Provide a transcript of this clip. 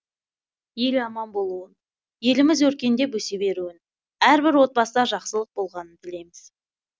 ел аман болуын еліміз өркендеп өсе беруін әрбір отбасыда жақсылық болғанын тілейміз